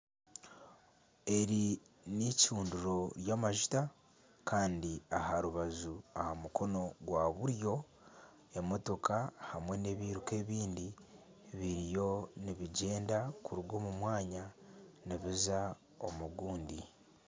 Eri n'eicundiro ry'amajuta kandi aha rubaju aha mukono ogwa buryo emotoka hamwe n'ebiruka ebindi biriyo nibigyenda kuruga omu mwanya nibiza omu gundi.